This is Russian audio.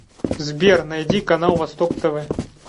сбер найди канал восток тв